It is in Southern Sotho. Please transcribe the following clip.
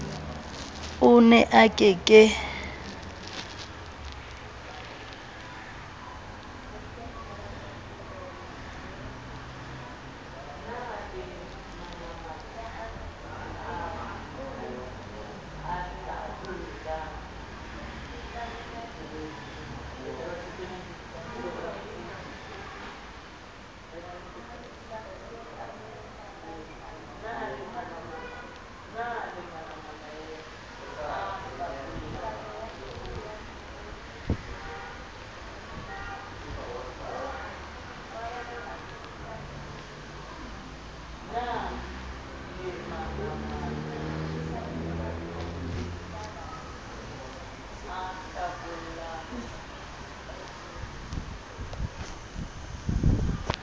o ne a ke ke